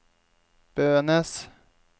Bønes